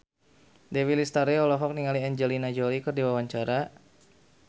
Dewi Lestari olohok ningali Angelina Jolie keur diwawancara